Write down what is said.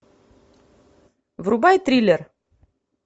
врубай триллер